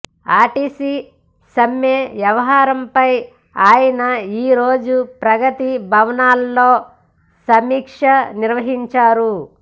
RTC సమ్మె వ్యహారంపై ఆయన ఈ రోజు ప్రగతి భవన్లో సమీక్ష నిర్వహించారు